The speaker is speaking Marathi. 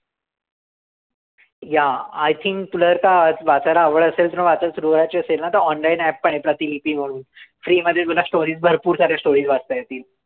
Yeah I think तुला तर वाचायला आवड असेल तर वाचायला सुरुवायची असेल ना, तर online app पण आहे प्रतिलिपी म्हणून. Free मध्ये तुला stories भरपूर साऱ्या stories वाचता येतील.